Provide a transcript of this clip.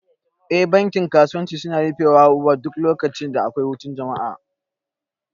Eh duk bankin kasuwanci suna rufe wa duk lokacin da akwai hutun jama'a